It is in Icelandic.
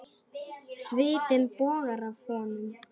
Svitinn bogar af honum.